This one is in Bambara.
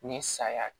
Ni saya ye